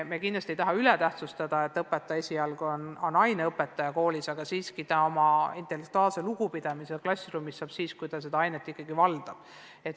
Me kindlasti ei taha üle tähtsustada seda, et õpetaja on koolis eelkõige aine õpetaja, aga lugupidamise intellektuaalina saab ta klassiruumis ikkagi siis, kui ta õpetatavat ainet valdab.